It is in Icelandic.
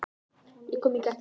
Ég kom í gættina.